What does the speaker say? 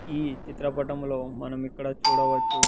ఈ చిత్రపటములో మనం ఇక్కడ చూడవచ్చు--